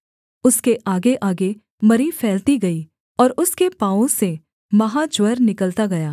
उसके आगेआगे मरी फैलती गई और उसके पाँवों से महाज्वर निकलता गया